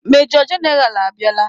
Major jeneral abịala.